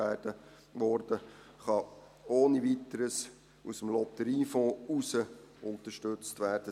Dieser kann ohne Weiteres aus dem Lotteriefonds heraus unterstützt werden.